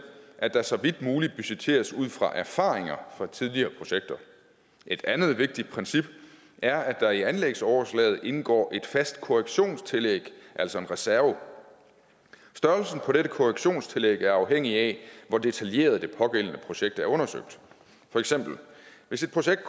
at der så vidt muligt budgetteres ud fra erfaringer fra tidligere projekter et andet vigtigt princip er at der i anlægsoverslaget indgår et fast korrektionstillæg altså en reserve størrelsen på dette korrektionstillæg er afhængig af hvor detaljeret det pågældende projekt er undersøgt hvis et projekt